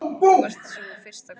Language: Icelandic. Þú varst sú fyrsta í kvöld.